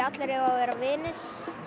allir eiga að vera vinir